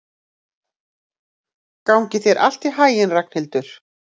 Gangi þér allt í haginn, Reynhildur.